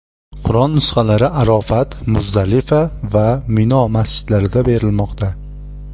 Qur’on nusxalari Arofat, Muzdalifa va Mino masjidlarida berilmoqda.